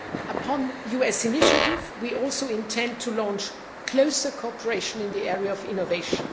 Upon a US initiative, we also intend to launch closer cooperation in the area of innovation.